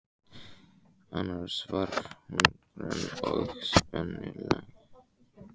Annars var hún grönn og spengileg.